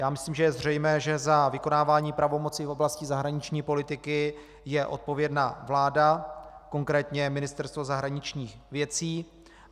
Já myslím, že je zřejmé, že za vykonávání pravomocí v oblasti zahraniční politiky je odpovědná vláda, konkrétně Ministerstvo zahraničních věcí.